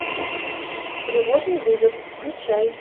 тревожный вызов включай